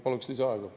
Paluks lisaaega.